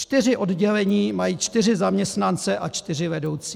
Čtyři oddělení mají čtyři zaměstnance a čtyři vedoucí.